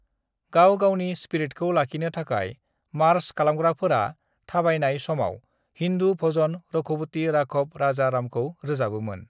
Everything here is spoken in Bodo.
गाव-गावनि स्पिरिटखौ लाखिनो थाखाय मार्च खालामग्राफोरा थाबायनाय समाव हिन्दु भजन रघुपति राघव राजा रामखौ रोजाबोमोन।